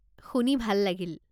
শুনি ভাল লাগিল।